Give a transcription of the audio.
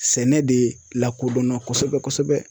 Sɛnɛ de lakodɔnna kosɛbɛ kosɛbɛ.